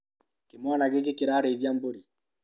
Kĩmwana gĩkĩ kĩrarĩithia mbũri